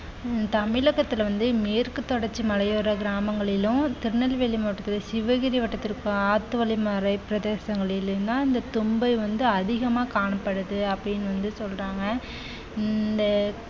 உம் தமிழகத்துல வந்து மேற்கு தொடர்ச்சி மலையோர கிராமங்களிலும் திருநெல்வேலி மாவட்டத்தில சிவகிரி வட்டத்திற்கு ஆத்து வழி மறை பிரதேசங்களின்னா இந்த தும்பை வந்து அதிகமா காணப்படுது அப்படின்னு வந்து சொல்றாங்க இந்த